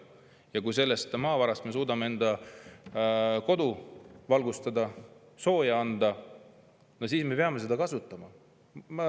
Ja kui selle maavara abil me suudame enda kodu valgustada, sooja anda, no siis me peame seda kasutama.